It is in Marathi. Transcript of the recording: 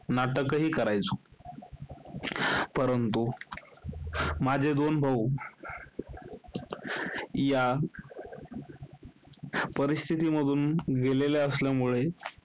नाटकही करायचो. परंतु, माझे दोन भाऊ, या परिस्थितीमधून गेलेले असल्यामुळे,